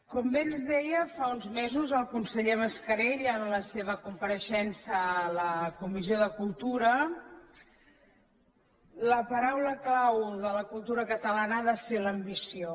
com bé ens deia fa uns mesos el conseller mascarell en la seva compareixença a la comissió de cultura la paraula clau de la cultura catalana ha de ser l’ambició